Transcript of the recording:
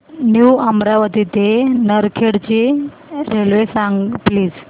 new Amravati ते नरखेड ची railway सांग प्लीज